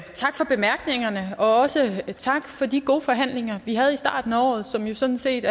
bemærkningerne også tak for de gode forhandlinger vi havde i starten af året som jo sådan set